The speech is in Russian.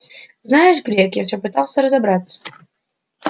знаешь грег я всё пытался разобраться